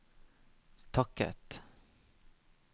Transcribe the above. takket